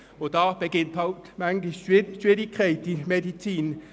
Hier beginnt die Schwierigkeit in der Medizin: